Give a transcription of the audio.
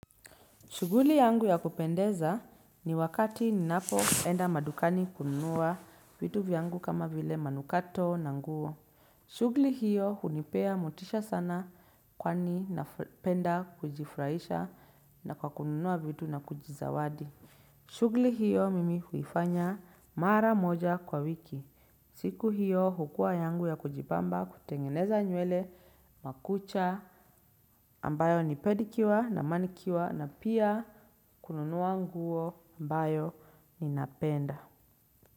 Shughuli yangu ya kupendeza ni wakati ninapoenda madukani kununua vitu vyangu kama vile manukato na nguo. Shughuli hiyo hunipea motisha sana kwani napenda kujifurahisha na kwa kununua vitu na kujizawadi. Shughuli hiyo mimi huifanya mara moja kwa wiki. Siku hiyo hukua yangu ya kujibamba kutengeneza nywele makucha ambayo ni pedicure na manicure na pia kununua nguo ambayo ninapenda.